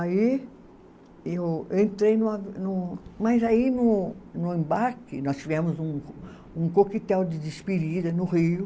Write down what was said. Aí eu, eu entrei no a, no. Mas aí no no embarque nós tivemos um, um coquetel de despedida no Rio.